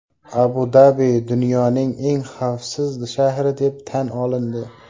Abu-Dabi dunyoning eng xavfsiz shahri deb tan olindi.